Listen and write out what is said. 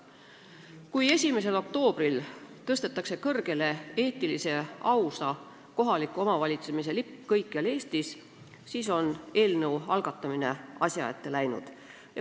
Kui 1. oktoobril tõstetakse kõrgele eetilise ja ausa kohaliku omavalitsemise lipp kõikjal Eestis, siis on eelnõu algatamine asja ette läinud.